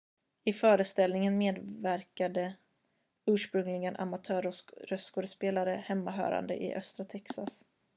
i föreställningen medverkade ursprungligen amatör-röstskådespelare hemmahörande i östra texas